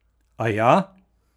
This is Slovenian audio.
Aja?